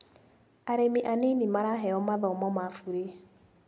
Arĩmi anini maraheo mathomo ma bure.